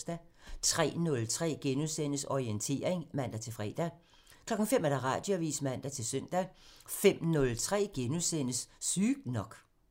03:03: Orientering *(man-fre) 05:00: Radioavisen (man-søn) 05:03: Sygt nok *(man)